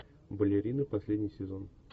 балерины последний сезон